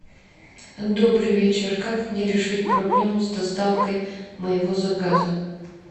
добрый вечер как мне решить проблему с доставкой моего заказа